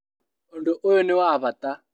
Ũndũ ũyũ nĩ wa bata